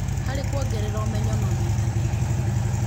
harĩ kuongerera ũmenyo na ũnyitanĩri